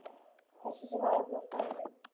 Þessi sem var þarna á staðnum?